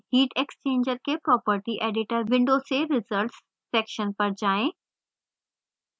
heat exchanger के property editor window से results section पर जाएँ